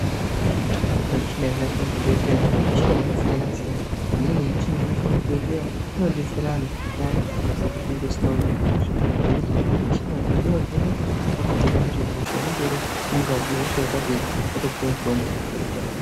Michina inoshandiswa muzvibhedhleya michina yakasiyanasiyana. Imweni yemichina inoshandiswe muzvibhedhleya inodetsera antu payani chero pezvinonge zvisina kumira mushe ngekuti michina yo inovheneka potooneke kuti hosha inonge iri mungazi ihosha yakadini wotopuwe mitombo woite zvakanaka.